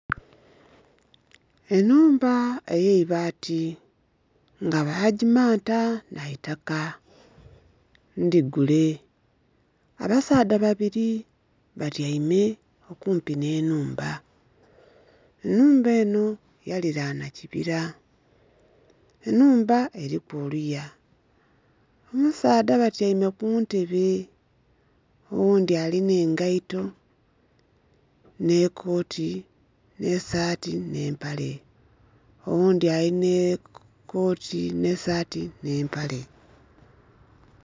Ennhumba ey'eibaati nga bagimanta na itaka, ndhigule. Abasaadha babiri batyaime okumpi n'ennhumba. Ennhumba eno yalilanha kibira. Ennhumba eliku oluya, abasaadha batyaime ku ntebe. Oghundhi alina engaito n'ekooti, n'esaati, n'empale oghundhi alina ekooti, n'esaati, n'empale.